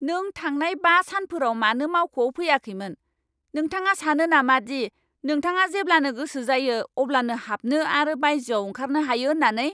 नों थांनाय बा सानफोराव मानो मावख'आव फैयाखैमोन? नोंथाङा सानो नामा दि नोंथाङा जेब्लानो गोसो जायो अब्लानो हाबनो आरो बायजोआव ओंखारनो हायो होननानै!